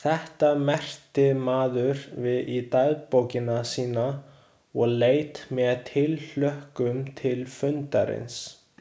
Þetta merkti maður við í dagbókina sína og leit með tilhlökkun til fundarins.